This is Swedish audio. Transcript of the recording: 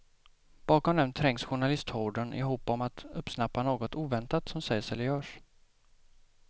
Bakom dem trängs journalisthorden i hopp om att uppsnappa något oväntat som sägs eller görs.